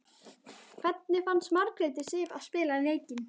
Hvernig fannst Margréti Sif að spila leikinn?